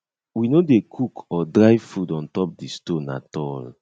we no dey cook or dry food on top di stone at all